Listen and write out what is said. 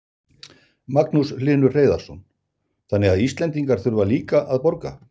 Magnús Hlynur Hreiðarsson: Þannig að Íslendingar þurfa líka að borga?